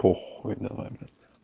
похуй давай